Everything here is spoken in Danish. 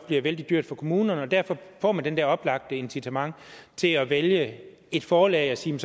bliver vældig dyrt for kommunerne og derfor får man det der oplagt incitament til at vælge et forlag og sige